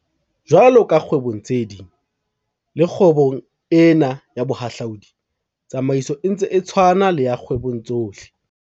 Jwalo ka kgwebong tse ding, le kgwebong ena ya bohahlaodi, tsamaiso e ntse e tshwana le ya kgwebong tsohle.